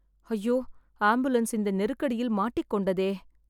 ஐயோ.. ஆம்புலன்ஸ் இந்த நெருக்கடியில் மாட்டிக்கொண்டதே